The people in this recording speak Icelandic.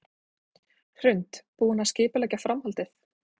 Hrund: Búinn að skipuleggja framhaldið?